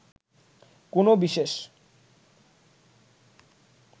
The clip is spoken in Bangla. কোনো বিশেষ